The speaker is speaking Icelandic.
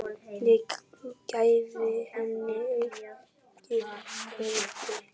Það gæfi henni aukið gildi.